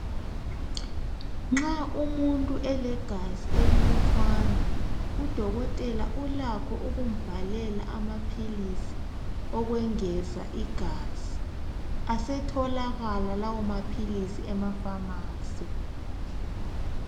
nxa umuntu elegazi elilutshwane udokotela ulakho ukumbhalela amaphilisi okwengeza igaza asetholakala lawo maphilisi ema phamarcy